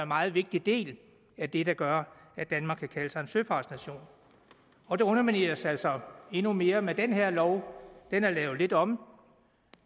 meget vigtig del af det der gør at danmark kan kalde sig en søfartsnation og det undermineres altså endnu mere med den her lov den er lavet lidt om